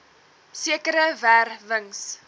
sekere wer wings